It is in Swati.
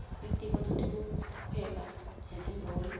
litiko letekuhweba netimboni